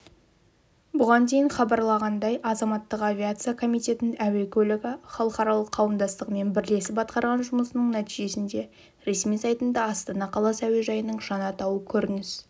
бұған дейін хабарланғандай азаматтық авиация комитетінің әуе көлігі халықаралық қауымдастығымен бірлесіп атқарғанжұмысының нәтижесінде ресми сайтында астана қаласы әуежайының жаңа атауы көрініс